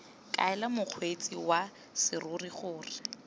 kaela mokgweetsi wa serori gore